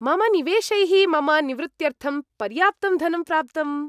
मम निवेशैः मम निवृत्त्यर्थं पर्याप्तं धनं प्राप्तम्।